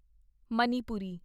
Manipuri